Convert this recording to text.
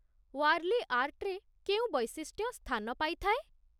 ୱାର୍ଲି ଆର୍ଟରେ କେଉଁ ବୈଶିଷ୍ଟ୍ୟ ସ୍ଥାନ ପାଇଥାଏ?